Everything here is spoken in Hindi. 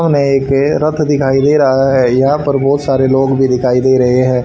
हमें एक रथ दिखाई दे रहा है यहां पर बहोत सारे लोग भी दिखाई दे रहे हैं।